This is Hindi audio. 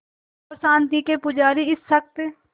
और शांति के पुजारी इस शख़्स